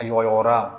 A ɲɔgɔnra